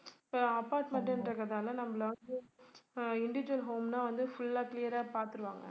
இப்ப apartment என்றதால நம்மல வந்து அஹ் individual home னா வந்து full ஆ clear ஆ பாத்துருவாங்க